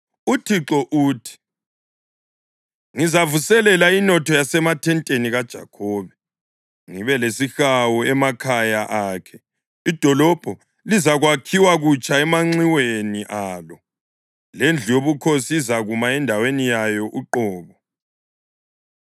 UThixo uthi: ‘Ngizavuselela inotho yasemathenteni kaJakhobe ngibe lesihawu emakhaya akhe; idolobho lizakwakhiwa kutsha emanxiweni alo, lendlu yobukhosi izakuma endaweni yayo uqobo.